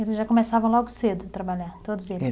Eles já começavam logo cedo a trabalhar, todos eles? Era